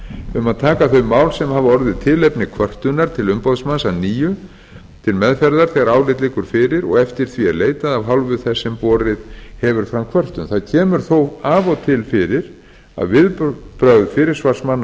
um að taka þau mál sem hafa orðið tilefni kvörtunar til umboðsmanns að nýju til meðferðar þegar álit liggur fyrir og eftir því er leitað af hálfu þess sem borið hefur fram kvörtun það kemur þó af og til fyrir að viðbrögð fyrirsvarsmanna